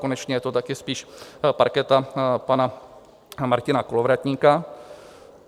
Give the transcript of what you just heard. Konečně je to taky spíš parketa pana Martina Kolovratníka.